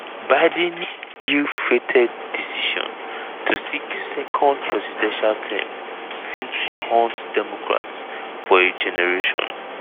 biden ill-fated decision to seek second presidential term fit haunt democrats for a generation.